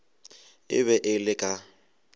e be e le ka